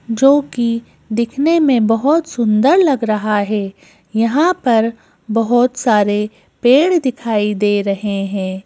जो कि दिखने में बहुत सुंदर लग रहा है यहां पर बहुत सारे पेड़ दिखाई दे रहे हैं।